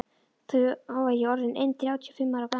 Þá var ég orð inn þrjátíu og fimm ára gamall.